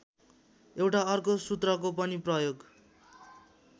एउटा अर्को सूत्रको पनि प्रयोग